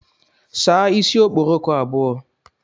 Saa isi okporoko abụọ